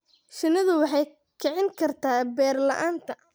Shinnidu waxay kicin kartaa beer-la'aanta.